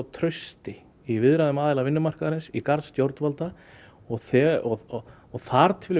trausti í viðræðum aðila vinnumarkaðarins í garð stjórnvalda og og þar til